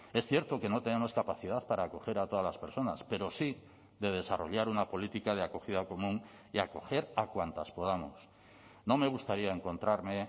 es cierto que no tenemos capacidad para acoger a todas las personas pero sí de desarrollar una política de acogida común y acoger a cuantas podamos no me gustaría encontrarme